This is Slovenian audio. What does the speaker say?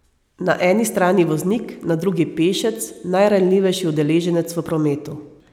Na eni strani voznik, na drugi pešec, najranljivejši udeleženec v prometu.